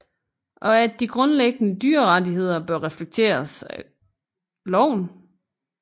Og at de grundlæggende dyrerettigheder bør reflekteres af loven